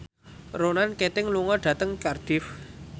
Ronan Keating lunga dhateng Cardiff